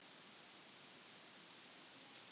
Þá var Brodd-Helgi í Vopnafirði, Eyjólfur Valgerðarson í